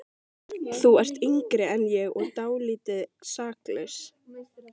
Þú ert yngri en ég og dálítið saklaus.